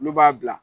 Olu b'a bila